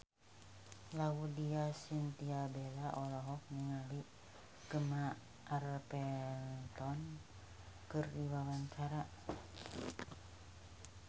Laudya Chintya Bella olohok ningali Gemma Arterton keur diwawancara